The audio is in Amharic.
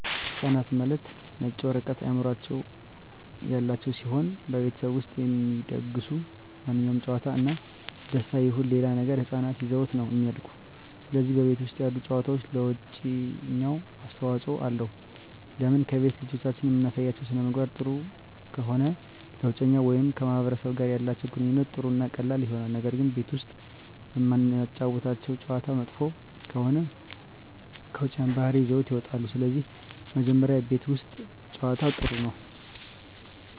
ህፃናት ማለት የነጭ ወረቀት አዕምሮ ያላቸው ሲሆን በቤተሠብ ውስጥ የሚደሰጉ ማንኛውም ጨዋታ እና ደስታ ይሁን ሌላ ነገር ህፃናት ይዘውት ነው እሚድጉ ስለዚህ በቤት ውስጥ ያሉ ጨዋታዎች ለውጨኛው አስተዋፅኦ አለው ለምን ከቤት ልጆችን እምናሳያቸው ሥነምግባር ጥሩ ከሆነ ለውጨኛው ወይም ከማህበረሰቡ ጋር ያላቸው ግንኙነት ጥሩ እና ቀላል ይሆናል ነገር ግን ቤት ውስጥ እምናጫውታቸው ጨዋታ መጥፎ ከሆነ ከውጭ ያን ባህሪ ይዘውት ይወጣሉ ስለዚህ መጀመሪ ቤት ውስት ጨዋታ ጥሩ ነው